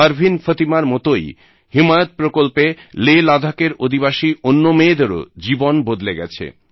পারবিন ফতিমার মতই হিমায়ত প্রকল্পে লে লাদাখের অধিবাসী অন্য মেয়েদেরও জীবন বদলে গেছে